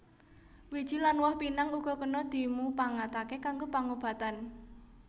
Wiji lan woh pinang uga kena dimupangataké kanggo pangobatan